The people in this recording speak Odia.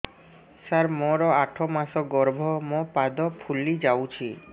ସାର ମୋର ଆଠ ମାସ ଗର୍ଭ ମୋ ପାଦ ଫୁଲିଯାଉଛି